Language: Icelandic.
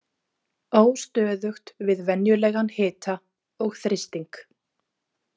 Óstöðugt við venjulegan hita og þrýsting.